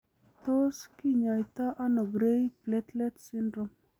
Tos kanyaita ono gray platelet syndrome ?